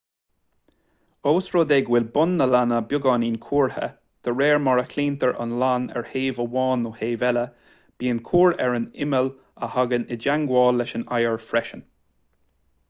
ós rud é go bhfuil bun na lainne beagáinín cuartha dé réir mar a chlaontar an lann ar thaobh amháin nó taobh eile bíonn cuar ar an imeall a thagann i dteagmháil leis an oighear freisin